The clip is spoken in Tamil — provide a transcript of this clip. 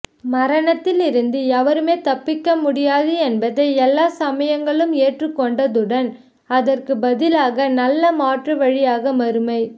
மரணத்தில் இருந்து எவருமே தப்பமுடியாது என்பதை எல்லா சமயங்களும் ஏற்று கொண்டதுடன் அதற்கு பதிலாக நல்ல மாற்று வழியாக மறுமை